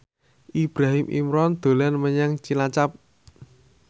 Ibrahim Imran dolan menyang Cilacap